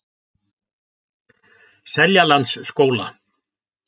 Seljalandsskóla